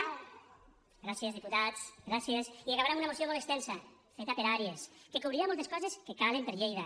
gràcies diputats gràcies i que acabarà amb una moció molt extensa feta per àrees que cobrirà moltes coses que calen per a lleida